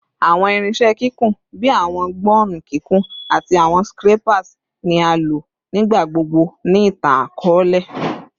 Awọn irinṣẹ kikun bii awọn gbọnnu kikun ati awọn scrapers ni a lo nigbagbogbo ni itan-akọọlẹ